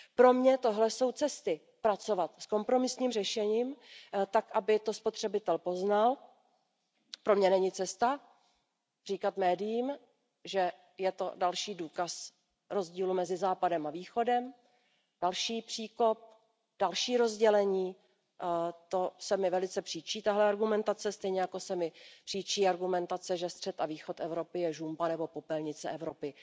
Pro mě jsou tohle cesty pracovat s kompromisním řešením tak, aby to spotřebitel poznal. Pro mě není cesta říkat médiím, že je to další důkaz rozdílu mezi Západem a Východem, další příkop, další rozdělení, to se mi velice příčí tato argumentace, stejně jako se mi příčí argumentace, že střed a východ Evropy je žumpa nebo popelnice Evropy.